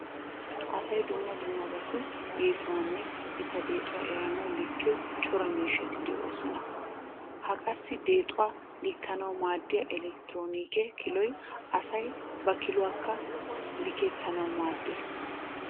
Asay dumma dummabatu yesuwanne eta deexuwa eranawu likkiyo cora miishshati de'oosona. Ha qassi deexuwaa likkanawu maaddiya elekitroonike kiloy asay ba kiluawaakka likettanawu maaddees.